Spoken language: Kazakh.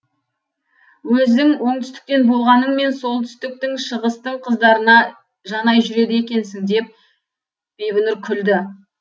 өзің оңтүстіктен болғаныңмен солтүстіктің шығыстың қыздарына жанай жүреді екенсің деп бибінұр күлді